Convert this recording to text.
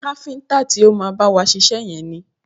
Káfíntà ti o má bá wa ṣiṣẹ́ yẹn ni.